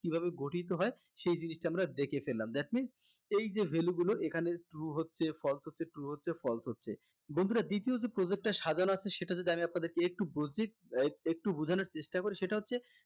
কিভাবে গঠিত হয় সেই জিনিষটা আমরা দেখে ফেললাম that means এই যে value গুলো এখানে true হচ্ছে false হচ্ছে true হচ্ছে false হচ্ছে বন্ধুরা দ্বিতীয় যে project টা সাজানো আছে সেটা যদি আমি আপনাদেরকে একটু আহ একটু বুঝানোর চেষ্টা করি সেটা হচ্ছে